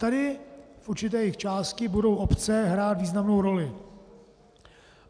Tady v určité jejich části budou obce hrát významnou roli.